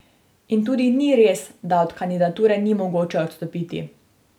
In tudi ni res, da od kandidature ni mogoče odstopiti.